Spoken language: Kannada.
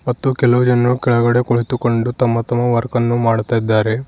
ಮತ್ತು ಕೆಲವು ಜನರು ಕೆಳಗಡೆ ಕುಳಿತುಕೊಂಡು ತಮ್ಮ ತಮ್ಮ ವರ್ಕ್ ಅನ್ನು ಮಾಡುತ್ತಿದ್ದಾರೆ.